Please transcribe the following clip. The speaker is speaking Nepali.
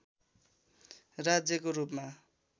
राज्यको रूपमा